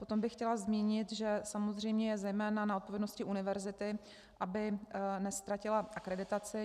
Potom bych chtěla zmínit, že samozřejmě je zejména na odpovědnosti univerzity, aby neztratila akreditaci.